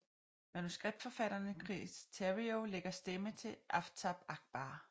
Manuskriptforfatteren Chris Terrio lægger stemme til Aftab Ackbar